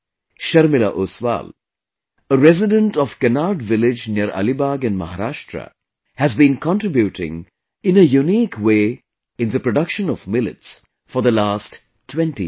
Sharmila Oswal, a resident of Kenad village near Alibaug in Maharashtra, has been contributing in a unique way in the production of millets for the last 20 years